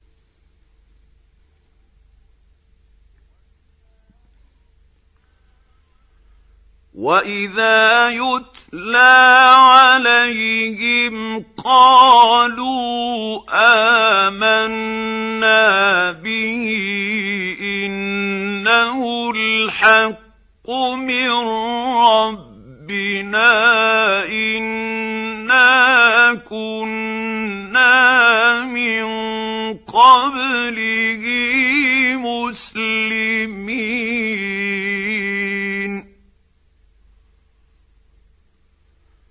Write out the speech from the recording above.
وَإِذَا يُتْلَىٰ عَلَيْهِمْ قَالُوا آمَنَّا بِهِ إِنَّهُ الْحَقُّ مِن رَّبِّنَا إِنَّا كُنَّا مِن قَبْلِهِ مُسْلِمِينَ